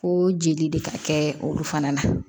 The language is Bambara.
Ko jeli de ka kɛ olu fana na